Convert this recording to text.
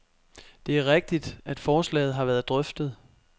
Det er rigtigt, at forslaget har været drøftet.